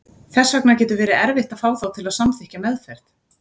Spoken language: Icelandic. Þess vegna getur verið erfitt að fá þá til að samþykkja meðferð.